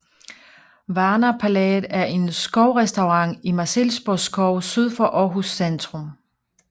Varna Palæet er en skovrestaurant i Marselisborg Skov syd for Aarhus centrum